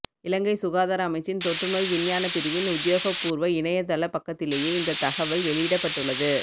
இலங்கை சுகாதார அமைச்சின் தொற்று நோய் விஞ்ஞான பிரிவின் உத்தியோகபூர்வ இணையத்தள பக்கத்திலேயே இந்த தகவல் வெளியிடப்பட்டுள்ளது